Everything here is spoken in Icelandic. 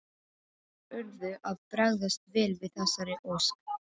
Þeir urðu að bregðast vel við þessari ósk.